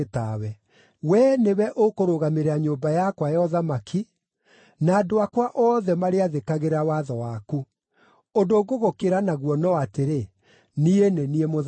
Wee nĩwe ũkũrũgamĩrĩra nyũmba yakwa ya ũthamaki, na andũ akwa othe marĩathĩkagĩra watho waku. Ũndũ ngũgũkĩra naguo no atĩrĩ, niĩ nĩ niĩ Mũthamaki.”